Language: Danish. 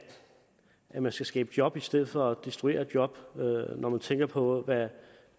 man skal skabe job i stedet for at destruere job når man tænker på hvad